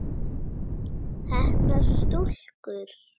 Heppnar stúlkur?